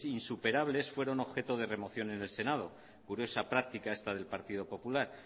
insuperables fueron objeto de remoción en el senado curiosa práctica esta del partido popular